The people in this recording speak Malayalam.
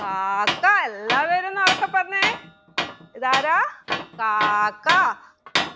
കാക്ക എല്ലാവരും ഒന്ന് ഉറക്കെ പറഞ്ഞെ ഇതാരാ കാക്ക